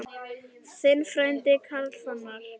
Þinn frændi, Karl Fannar.